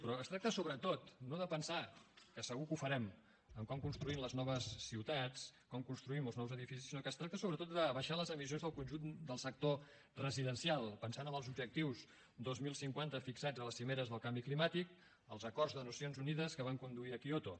però es tracta sobretot no de pensar que segur que ho farem en com construïm les noves ciutats com construïm els nous edificis sinó que es tracta sobretot d’abaixar les emissions del conjunt del sector residencial pensant en els objectius dos mil cinquanta fixats a les cimeres del canvi climàtic als acords de nacions unides que van conduir a kyoto